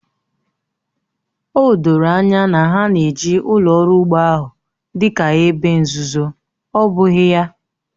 O doro anya na ha na-eji ụlọ ọrụ ugbo ahụ dị ka ebe nzuzo, ọ bụghị ya?